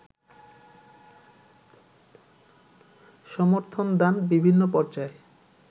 সমর্থনদান বিভিন্ন পর্যায়ে